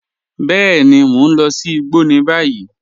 Bẹẹni, mọ̀ n lọ̀ sí ìgbọ́ ní báyìí.